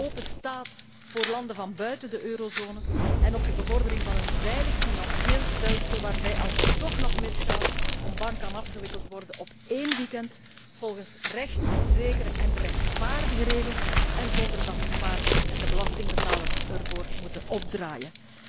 openstaat voor landen van buiten de eurozone en op de bevordering van een veilig financieel stelsel waarbij, als het toch nog misgaat, een bank afgewikkeld kan worden op één weekeinde volgens rechtszekere en rechtvaardige regels en zonder dat de spaarder en de belastingbetaler ervoor moeten opdraaien.